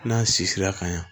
N'an si sera ka ɲa